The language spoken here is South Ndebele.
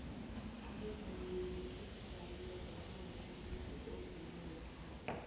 abavumi bekhethu balila ngokungathengisi kombhino wekhaya